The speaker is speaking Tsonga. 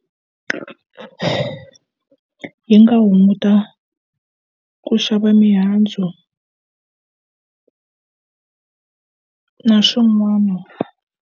Yi nga hunguta ku xava mihandzu na swin'wana.